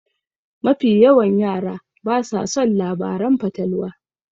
Mafi yawan yara basa son labaran fatalwa.